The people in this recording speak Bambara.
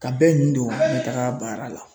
Ka bɛɛ ɲindo ɲɛtaga baara la